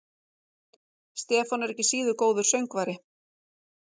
Stefán er ekki síður góður söngvari.